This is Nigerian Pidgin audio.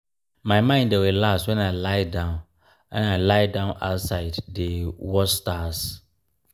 my mind dey relax wen i lie-down i lie-down outside dey um watch stars.